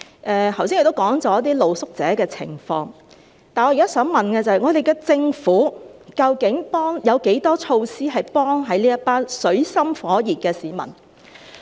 我剛才已提到露宿者的情況，但我現在想問的是，我們的政府究竟有多少措施，能協助這一群處於水深火熱的市民？